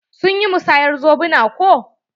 Sun yi musayar zobuna ko?